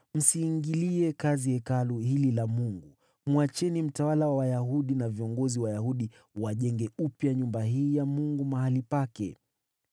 Msiingilie kazi ya Hekalu hili la Mungu. Mwacheni mtawala wa Wayahudi na viongozi Wayahudi wajenge upya nyumba hii ya Mungu mahali pake.